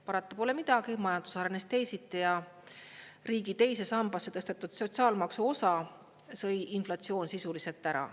Parata pole midagi, majandus arenes teisiti ja riigi teise sambasse tõstetud sotsiaalmaksu osa sõi inflatsioon sisuliselt ära.